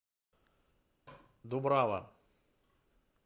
дубрава